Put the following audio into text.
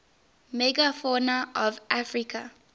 megafauna of africa